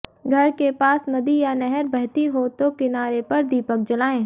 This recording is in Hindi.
घर के पास नदी या नहर बहती हो तो किनारे पर दीपक जलाएं